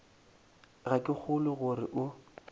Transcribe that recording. ga ke kgolwe gore o